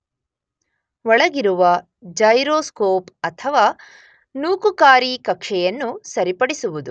ಒಳಗಿರುವ ಜೈರೋಸ್ಕೋಪ್ ಅಥವಾ ನೂಕುಕಾರಿ ಕಕ್ಷೆಯನ್ನು ಸರಿಪಡಿಸುವುದು.